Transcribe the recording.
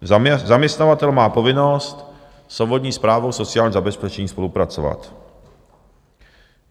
Zaměstnavatel má povinnost s obvodní správou sociálního zabezpečení spolupracovat.